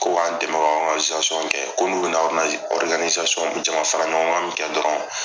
Ko k'an dɛmɛ kɛ ko n'u bɛ na jaman faraɲɔgɔnkan min kɛ dɔrɔn.